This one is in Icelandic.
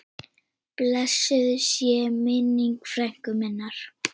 Blessuð sé minning frænku minnar.